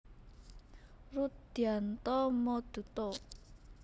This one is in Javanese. Rudhyanto Mooduto